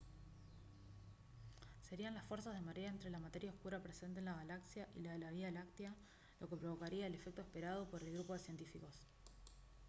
serían las fuerzas de marea entre la materia oscura presente en la galaxia y la de la vía láctea lo que provocaría el efecto esperado por el grupo de científicos